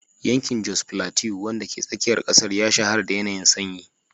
Yankin Jos Plateau, wanda ke tsakiyar kasar, ya shahara da yanayin sanyi.